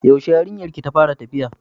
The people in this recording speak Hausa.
Yaushe yarinyar ki ta fara tafiya?